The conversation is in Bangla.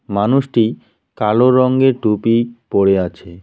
মানুষটি কালো রঙ্গের টুপি পরে আছে।